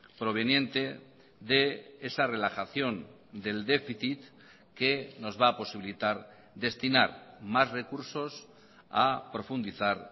proveniente de esa relajación del déficit que nos va a posibilitar destinar más recursos a profundizar